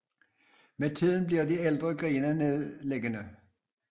Med tiden bliver de ældste grene nedliggende